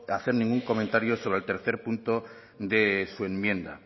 hacer ningún comentario sobre el tercer punto de su enmienda